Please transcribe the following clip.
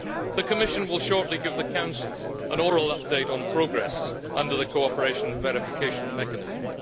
The Commission will shortly give the Council an oral update on progress under the cooperation and verification mechanism.